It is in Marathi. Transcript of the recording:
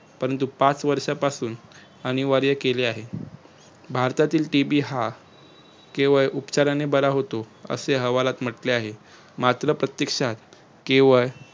परंतु पाच वर्षय पासून अनिवार्य केले आहे भारतातील TB हा केवळ उपचाराने बरा होतो, असे अहवालात म्हंटले आहे. मात्र प्रत्येक्षात केवळ